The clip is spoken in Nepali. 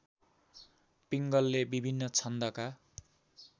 पिङ्गलले विभिन्न छन्दका